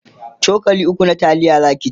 cokali ukwu na taliya Zaki ci